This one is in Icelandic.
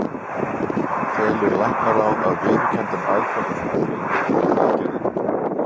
Telur læknaráð, að viðurkenndum aðferðum hafi verið beitt við aðgerðina?